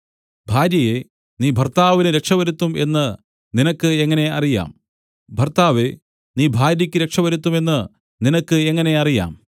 ഭാര്യയേ നീ ഭർത്താവിന് രക്ഷ വരുത്തും എന്ന് നിനക്ക് എങ്ങനെ അറിയാം ഭർത്താവേ നീ ഭാര്യയ്ക്ക് രക്ഷ വരുത്തും എന്ന് നിനക്ക് എങ്ങനെ അറിയാം